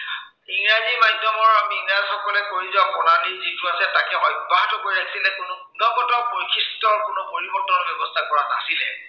মাধ্য়মৰ আমি ইংৰাজসকলে কৰি যোৱা যিটো আছে তাকে অব্য়াহত ৰাখিলে কোনো গুণগত বৈশিষ্ট্য়ৰ কোনো পৰিৱৰ্তন ব্য়ৱস্থা কৰা নাছিলে